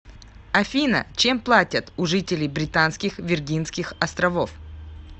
афина чем платят у жителей британских виргинских островов